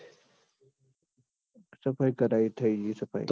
સફાઈ કરાઈ થઇ જી સ ભાઈ